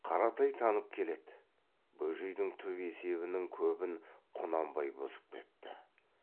қаратай танып келеді бөжейдің түп есебінің көбін құнанбай бұзып кетті